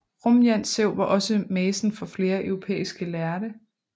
Rumjantsev var også mæcen for flere europæiske lærde